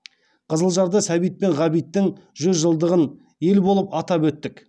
қызылжарда сәбит пен ғабиттің жүз жылдығын ел болып атап өттік